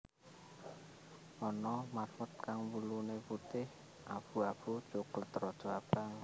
Ana marmut kang wuluné putih abu abu coklat rada abang